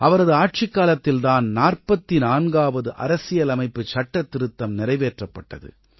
அவரது ஆட்சிக்காலத்தில் தான் 44ஆவது அரசியலமைப்புச் சட்டத்திருத்தம் நிறைவேற்றப்பட்டது